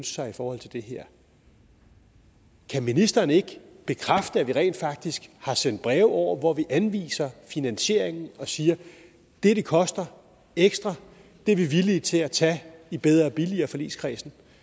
sig i forhold til det her kan ministeren ikke bekræfte at vi rent faktisk har sendt breve over hvor vi anviser finansieringen og siger at det det koster ekstra er vi villige til at tage i bedre og billigere forligskredsen